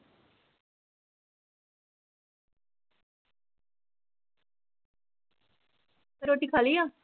ਰੋਟੀ ਖਾ ਲਈ ਆ?